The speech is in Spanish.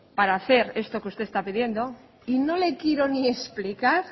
para hacer esto que usted está pidiendo y no le quiero ni explicar